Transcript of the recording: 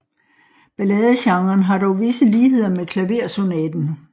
Balladegenren har dog visse ligheder med klaversonaten